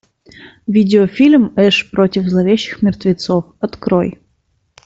видео фильм эш против зловещих мертвецов открой